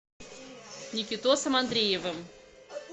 никитосом андреевым